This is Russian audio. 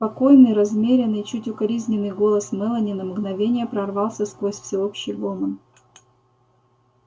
спокойный размеренный чуть укоризненный голос мелани на мгновение прорвался сквозь всеобщий гомон